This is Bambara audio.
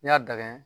N'i y'a dingɛ